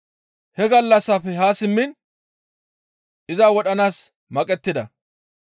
He gallassafe haa simmiin iza wodhanaas maqettida.